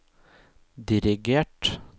dirigert